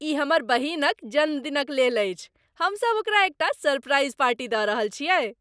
ई हमर बहिनक जन्मदिनक लेल अछि। हम सभ ओकरा एकटा सरप्राइज पार्टी दऽ रहल छियै।